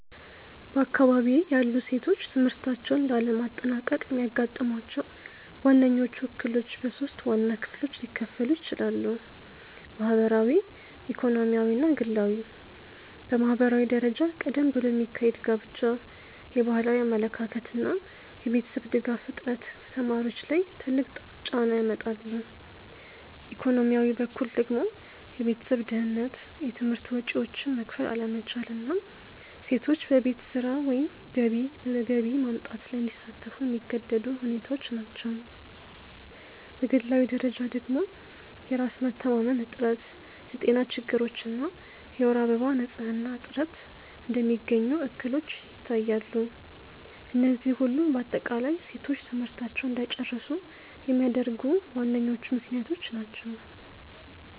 በአካባቢዬ ያሉ ሴቶች ትምህርታቸውን ላለማጠናቀቅ የሚያጋጥሟቸው ዋነኞቹ እክሎች በሶስት ዋና ክፍሎች ሊከፈሉ ይችላሉ። ማህበራዊ፣ ኢኮኖሚያዊ እና ግላዊ። በማህበራዊ ደረጃ ቀደም ብሎ የሚካሄድ ጋብቻ፣ የባህላዊ አመለካከት እና የቤተሰብ ድጋፍ እጥረት ከተማሪዎች ላይ ትልቅ ጫና ያመጣሉ፤ ኢኮኖሚያዊ በኩል ደግሞ የቤተሰብ ድህነት፣ የትምህርት ወጪዎችን መክፈል አለመቻል እና ሴቶች በቤት ስራ ወይም በገቢ ማምጣት ላይ እንዲሳተፉ የሚገደዱ ሁኔታዎች ናቸው፤ በግላዊ ደረጃ ደግሞ የራስ መተማመን እጥረት፣ የጤና ችግሮች እና የወር አበባ ንፅህና እጥረት እንደሚገኙ እክሎች ይታያሉ፤ እነዚህ ሁሉ በአጠቃላይ ሴቶች ትምህርታቸውን እንዳይጨርሱ የሚያደርጉ ዋነኞቹ ምክንያቶች ናቸው።